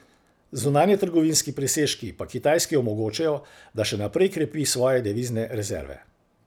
Zunanjetrgovinski presežki pa Kitajski omogočajo, da še naprej krepi svoje devizne rezerve.